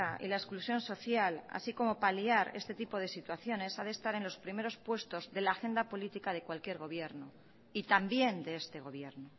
y la exclusión social así como paliar este tipo de situaciones ha de estar en los primeros puestos de la agenda política de cualquier gobierno y también de este gobierno